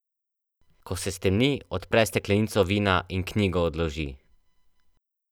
Ko se stemni, odpre steklenico vina in knjigo odloži.